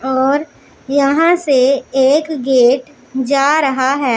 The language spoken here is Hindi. और यहां से एक गेट जा रहा है।